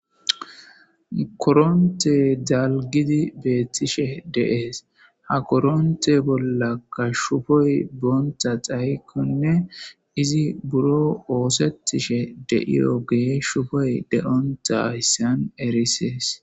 koronte dalgidi beettishe deees ha koronte bolla kashshufoy boonta xaykkonne izi buro oosettishe deiyo gees shufoy de7onta hyssan erisees